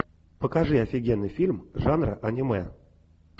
покажи офигенный фильм жанра аниме